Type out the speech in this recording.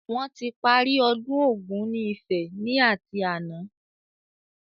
Wọn tí parí ọdún Ògún ni Ifẹ̀ ni ati àná